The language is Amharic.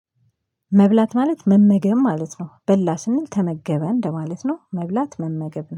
መብላት ማለት መመገብ ማለት ነው በላ ስንል ተመገበ እንደማለት ነው። መብላት መመገብ ነው